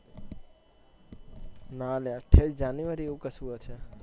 ના અલ્યા ઠેક જાન્યુઆરી એવું ક્સુ હશે